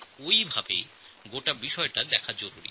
এই জায়গা থেকে বিষয়টি দেখা উচিত